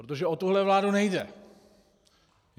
Protože o tuhle vládu nejde.